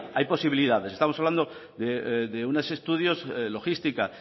hay posibilidades estamos hablando de unos estudios logística